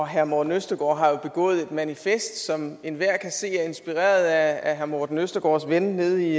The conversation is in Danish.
herre morten østergaard har jo begået et manifest som enhver kan se er inspireret af herre morten østergaards ven nede i